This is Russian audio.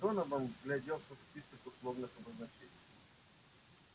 донован вгляделся в список условных обозначений